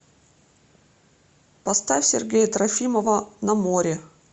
поставь сергея трофимова на море